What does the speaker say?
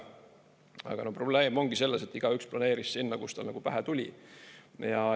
Aga probleem ongi selles, et igaüks planeeris sinna, kus tal nagu pähe tuli.